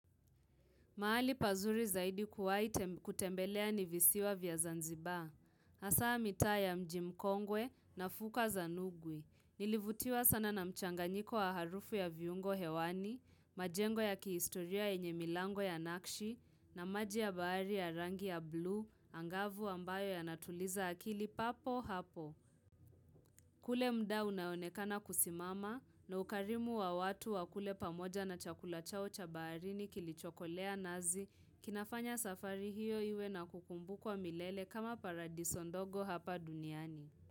Mahali pazuri zaidi kuwa, kutembelea ni visiwa vya zanzibaa. Asa mita ya mjimkongwe na fuka zanugwi. Nilivutiwa sana na mchanganyiko wa harufu ya viungo hewani, majengo ya kiistoria enye milango ya nakshi, na maji ya bahari ya rangi ya blue, angavu ambayo ya natuliza akili papo hapo. Kule mda unaonekana kusimama, na ukarimu wa watu wa kule pamoja na chakula chao cha baarini kilichokolea nazi, kinafanya safari hiyo iwe na kukumbu kwa milele kama paradiso ndogo hapa duniani.